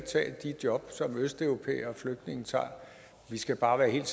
tage de job som østeuropæere og flygtninge tager vi skal bare være helt